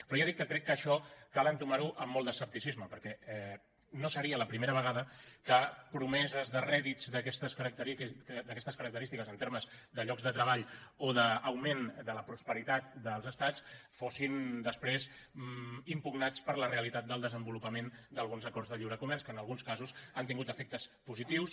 però ja dic que crec que això cal entomar ho amb molt d’escepticisme perquè no seria la primera vegada que promeses de rèdits d’aquestes característiques en termes de llocs de treball o d’augment de la prosperitat dels estats fossin després impugnades per la realitat del desenvolupament d’alguns acords de lliure comerç que en alguns casos han tingut efectes positius